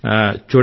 చూడండి